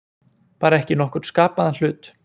Bara ekki nokkurn skapaðan hlut.